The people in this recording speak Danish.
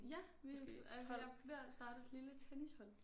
Ja vi øh jeg er ved at starte et lille tennishold